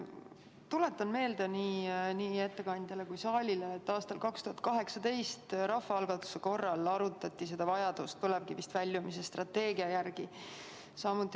Tuletan meelde nii ettekandjale kui saalile, et aastal 2018 arutati rahvaalgatuse korras vajadust põlevkivienergiast väljumise strateegia järele.